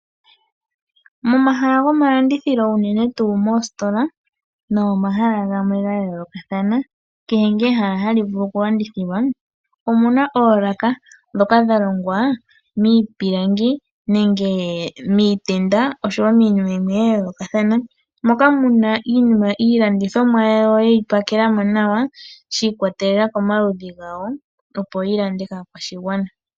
Momahala gomalandithilo unene tuu moositola no momahala gamwe ga yoolokathana kehe ngaa ehala ha li vulu okulandithilwa omuna oolaka ndhoka dha longwa miipilangi nenge miitenda oshowo miinima yimwe ya yoolokathana moka muna iilandithomwa ya wo yeyi pakelamo nawa nawa shi ikwatelela komaludhi gawo opo yi landwe kaakwashigwana.